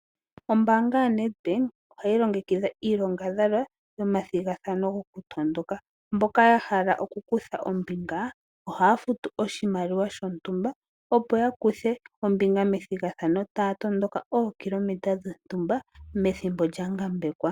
Ombaanga yaNEDBANK ohayi longekidha iilongadhalwa, omathigathano gokutondoka, mboka ya hala oku kutha ombinga ohaya futu oshimaliwa shontumba opo ya kuthe ombinga methigathano, taya tondoka ookilometa dhontumba methimbo lyangambekwa.